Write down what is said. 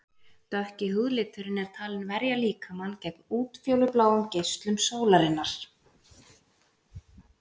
Dökki húðliturinn er talinn verja líkamann gegn útfjólubláum geislum sólar.